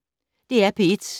DR P1